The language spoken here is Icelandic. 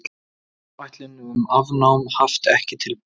Áætlun um afnám haft ekki tilbúin